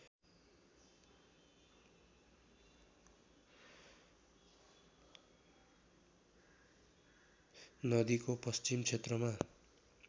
नदीको पश्चिम क्षेत्रमा